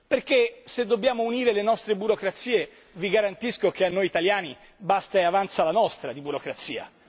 Perché se dobbiamo unire le nostre burocrazie vi garantisco che a noi italiani basta e avanza la nostra di burocrazia.